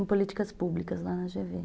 Em políticas públicas lá na gê vê